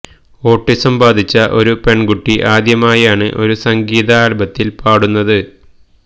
autism ബാധിച്ച ഒരു പെണ്കുട്ടി ആദ്യമായാണ് ഒരു സംഗീത ആല്ബത്തില് പാടുന്നത്